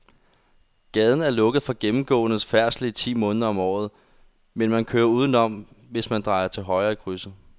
Gaden er lukket for gennemgående færdsel ti måneder om året, men man kan køre udenom, hvis man drejer til højre i krydset.